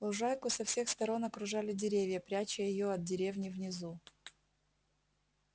лужайку со всех сторон окружали деревья пряча её от деревни внизу